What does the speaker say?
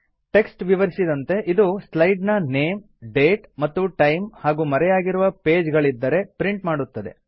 text ವಿವರಿಸಿದಂತೆ ಇದು slide ನ ನೇಮ್ ಡೇಟ್ ಮತ್ತು ಟೈಮ್ ಹಾಗೂ ಮರೆಯಾಗಿರುವ ಪೇಜ್ ಗಳಿದ್ದರೆ ಪ್ರಿಂಟ್ ಮಾಡುತ್ತದೆ